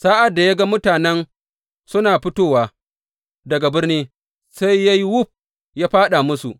Sa’ad da ya ga mutanen suna fitowa daga birni, sai ya yi wuf ya fāɗa musu.